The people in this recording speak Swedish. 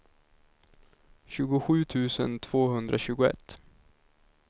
tjugosju tusen tvåhundratjugoett